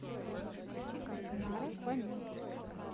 наро фоминск